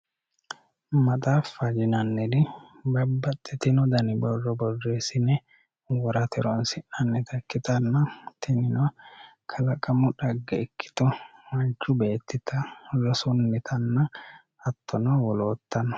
Maxaaffa yinaniti babaxitino dani borro borreesine woranita ikite hatino kalaqamunita rosunita hattono nabaxitinota ikite leeltano